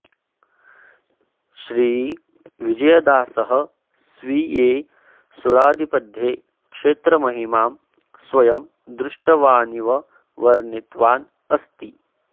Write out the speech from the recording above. श्रीविजयदासः स्वीये सुळादिपद्ये क्षेत्रमहिमां स्वयं दृष्टवानिव वर्णितवान् अस्ति